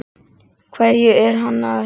Hverju er hann að heita?